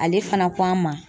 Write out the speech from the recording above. Ale fana ko an ma